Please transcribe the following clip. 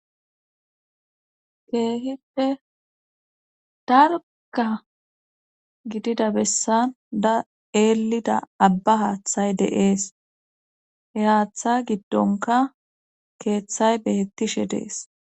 keehite dargka gidida bessan da eelida abba haaththay deees he haaththa giddonka keeththay beettishe dees